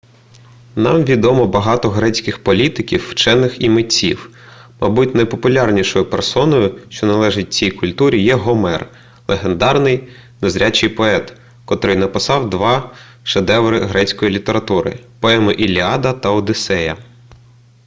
нам відомо багато грецьких політиків вчених і митців мабуть найпопулярнішою персоною що належить цій культурі є гомер легендарний незрячий поет котрий написав два шедеври грецької літератури поеми іліада та одіссея